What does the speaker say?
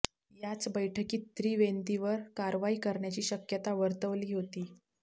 याच बैठकीत त्रिवेंदीवर कारवाई करण्याची शक्यता वर्तवली होती